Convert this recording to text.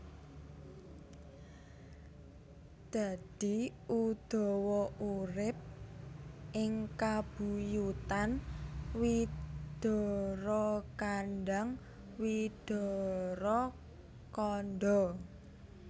Dadi Udawa urip ing kabuyutan Widarakandhang Widarakandha